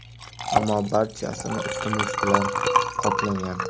Ammo barchasining usti muz bilan qoplangan.